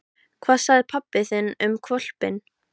Hvað sagði pabbi þinn um hvolpinn?